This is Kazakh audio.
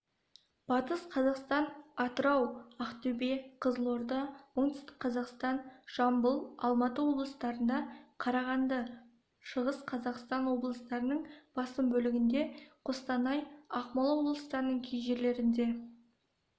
батыс қазақстан атырау ақтөбе қызылорда оңтүстік қазақстан жамбыл алматы облыстарында қарағанды шығыс қазақстан облыстарының басым бөлігінде қостанай ақмола облыстарының кей жерлерінде